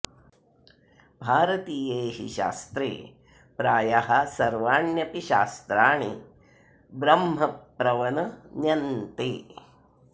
भारतीये हि शास्त्रे प्रायः सर्वाण्यपि शास्त्राणि ब्रह्मप्रवन न्यन्ते